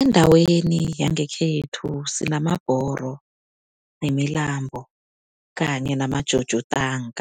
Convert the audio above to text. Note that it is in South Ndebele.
Endaweni yangekhethu sinamabhoro, nemilambo kanye nama-jojo tank.